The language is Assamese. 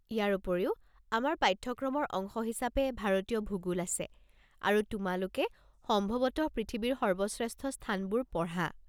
ইয়াৰ উপৰিও, আমাৰ পাঠ্যক্ৰমৰ অংশ হিচাপে ভাৰতীয় ভূগোল আছে, আৰু তোমালোকে সম্ভৱতঃ পৃথিৱীৰ সৰ্বশ্ৰেষ্ঠ স্থানবোৰ পঢ়া!